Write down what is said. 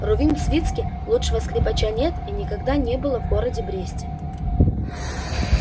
рувим свицкий лучшего скрипача нет и никогда не было в городе бресте